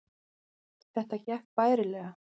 Þetta gekk bærilega